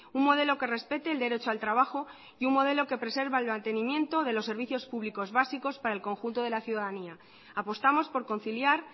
un modelo que respete el derecho al trabajo y un modelo que preserva el mantenimiento de los servicios públicos básicos para el conjunto de la ciudadanía apostamos por conciliar